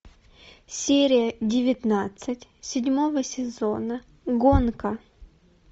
серия девятнадцать седьмого сезона гонка